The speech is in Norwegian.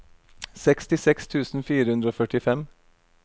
sekstiseks tusen fire hundre og førtifem